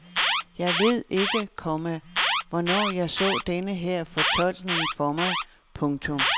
Jeg ved ikke, komma hvornår jeg så denne her fortolkning for mig. punktum